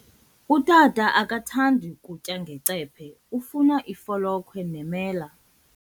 Utata akathandi kutya ngecephe, ufuna ifolokhwe nemela.